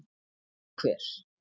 En ekki hver?